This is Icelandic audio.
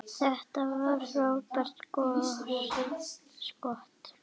Þetta var frábært skot.